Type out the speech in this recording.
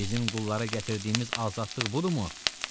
Bizim qullara gətirdiyimiz azadlıq budurmu?